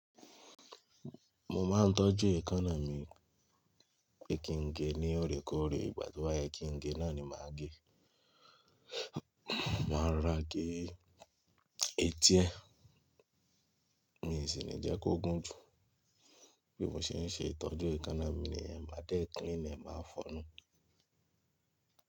Mo máa ń tọ́jú èékánná mi pé kí n ge ní ọ̀rẹ̀kọ̀ọ̀rẹ̀ ìgbà to ba ye kí n ge náà ni màá gẹ. Màá ro ra gé etí ẹ̀, mi sì ní jẹ́ kó gùn jù. Bí mo ṣe ń ṣe ìtọ́jú èékánná mi niyen má de clean ẹ máa fọ̀nú.